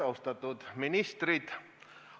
Austatud ministrid!